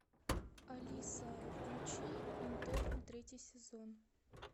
алиса включи интерны третий сезон